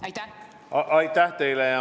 Aitäh teile!